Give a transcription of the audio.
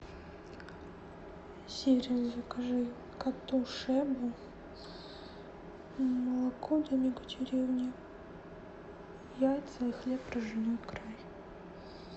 сири закажи коту шебу молоко домик в деревне яйца и хлеб ржаной край